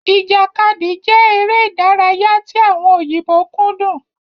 Ìjàkadì jẹ èrè ìdárayá tí àwọn òyìnbó kúndùn